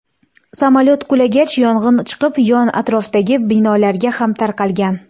Samolyot qulagach, yong‘in chiqib, yon atrofdagi binolarga ham tarqalgan.